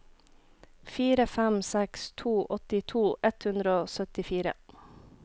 fire fem seks to åttito ett hundre og syttifire